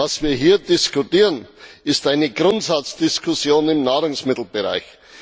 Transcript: Was wir hier diskutieren, ist eine Grundsatzdiskussion im Nahrungsmittelbereich.